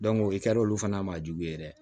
o kɛra olu fana ma jugu ye dɛ